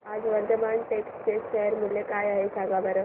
आज वर्धमान टेक्स्ट चे शेअर मूल्य काय आहे सांगा बरं